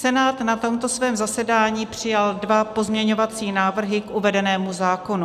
Senát na tomto svém zasedání přijal dva pozměňovací návrhy k uvedenému zákonu.